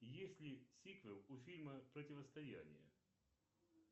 есть ли сиквел у фильма противостояние